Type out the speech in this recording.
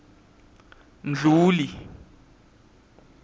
mdluli